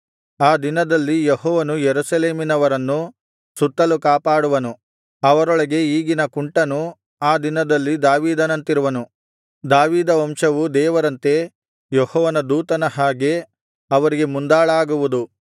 ಆ ದಿನದಲ್ಲಿ ಯೆಹೋವನು ಯೆರೂಸಲೇಮಿನವರನ್ನು ಸುತ್ತಲು ಕಾಪಾಡುವನು ಅವರೊಳಗೆ ಈಗಿನ ಕುಂಟನು ಆ ದಿನದಲ್ಲಿ ದಾವೀದನಂತಿರುವನು ದಾವೀದ ವಂಶವು ದೇವರಂತೆ ಯೆಹೋವನ ದೂತನ ಹಾಗೆ ಅವರಿಗೆ ಮುಂದಾಳಾಗುವುದು